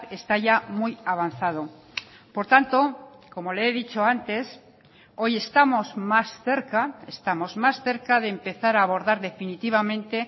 está ya muy avanzado por tanto como le he dicho antes hoy estamos más cerca estamos más cerca de empezar a abordar definitivamente